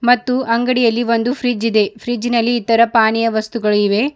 ಮತ್ತು ಅಂಗಡಿಯಲ್ಲಿ ಒಂದು ಫ್ರಿಡ್ಜ್ ಇದೆ ಫ್ರಿಡ್ಜ್ನ ಲ್ಲಿ ಇತರ ಪಾನಿಯ ವಸ್ತುಗಳು ಇವೆ.